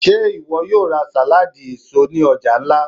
Ṣe iwọ yoo ra saladi eso ni ọja nla?